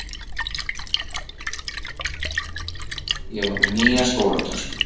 Ég var með nýja skólatösku.